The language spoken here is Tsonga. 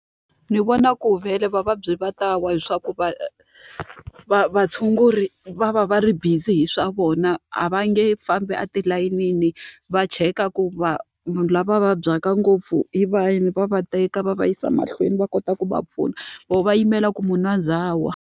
Ni vona ku vhele vavabyi va ta wa hileswaku vatshunguri va va va ri busy hi swa vona, a va nge fambi atilayenini va cheka ku lava vabyaka ngopfu hi vahi. Va va teka va va yisa mahlweni va kota ku va pfuna, vona va yimela ku munhu a za a wa.